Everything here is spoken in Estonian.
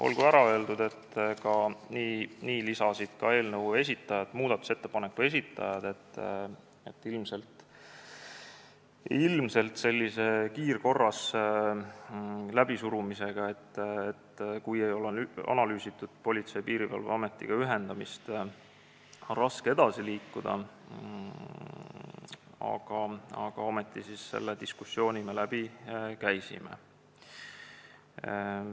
Olgu ära öeldud, et ka muudatusettepaneku esitajad lisasid, et ilmselt sellise kiirkorras läbisurumisega, kui Politsei- ja Piirivalveametiga ühendamist ei ole analüüsitud, on raske edasi liikuda, aga ometi me selle diskussiooni läbi käisime.